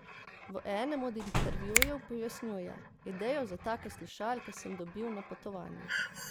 V enem od intervjujev pojasnjuje: "Idejo za take slušalke sem dobil na potovanju.